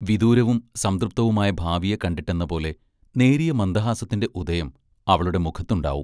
വിദൂരവും സംതൃപ്തവുമായ ഭാവിയെ കണ്ടിട്ടെന്നപോലെ നേരിയ മന്ദഹാസത്തിന്റെ ഉദയം അവളുടെ മുഖത്തുണ്ടാവും.